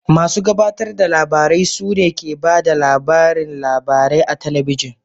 Masu gabatar da labarai su ne ke ba da labarin labarai a talabijin